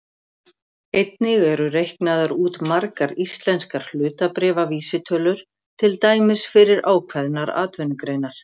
Einnig eru reiknaðar út margar íslenskar hlutabréfavísitölur, til dæmis fyrir ákveðnar atvinnugreinar.